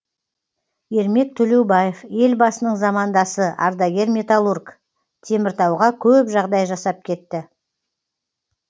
ермек төлеубаев елбасының замандасы ардагер металлург теміртауға көп жағдай жасап кетті